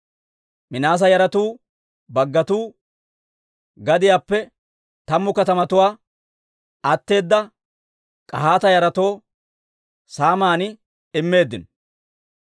Minaase yaratuu baggatuu gadiyaappe tammu katamatuwaa atteeda K'ahaata yaratoo saaman immeeddino.